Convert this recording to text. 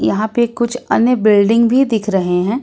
यहां पर कुछ अन्य बिल्डिंग भी दिख रहे हैं।